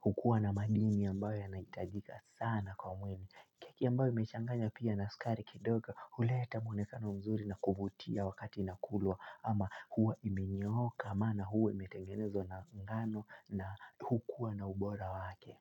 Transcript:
hukua na madini ambayo yanahitajika sana kwa mwili. Keki ambayo imechanganywa pia na skari kidogo huleta mwonekano mzuri na kuvutia wakati inakulwa ama huwa imenyooka maana huwa imetengenezwa na ngano na hukuwa na ubora wake.